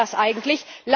Was ist das eigentlich?